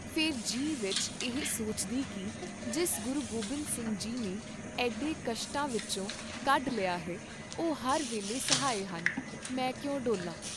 ਫੇਰ ਜੀ ਵਿਚ ਇਹ ਸੋਚਦੀ ਕੀ ਜਿਸ ਗੁਰੂ ਗੋਬਿੰਦ ਸਿੰਘ ਜੀ ਨੇ ਐਡੇ ਕਸ਼ਟਾਂ ਵਿਚੋਂ ਕੱਢ ਲਿਆ ਹੈ ਉਹ ਹਰ ਵੇਲੇ ਸਹਾਈ ਹਨ, ਮੈਂ ਕਿਉਂ ਡੋਲਾਂ?